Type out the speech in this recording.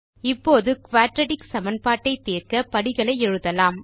இப்போது குயாட்ராட்டிக் சமன்பாட்டை தீர்க்க படிகளை எழுதலாம்